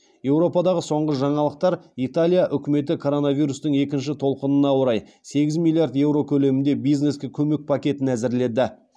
еуропадағы соңғы жаңалықтар италия үкіметі коронавирустың екінші толқықына орай сегіз миллиард еуро көлемінде бизнеске көмек пакетін әзірледі